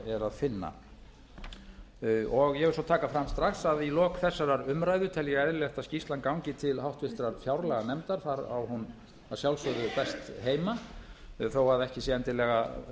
finna ég vil svo taka fram strax að í lok þessarar umræðu tel ég eðlilegt að skýrslan gangi til háttvirtrar fjárlaganefndar þar á hún að sjálfsögðu best heima þó að ekki sé endilega